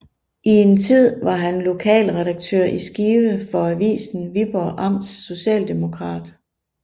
I en tid var han lokalredaktør i Skive for avisen Viborg Amts Socialdemokrat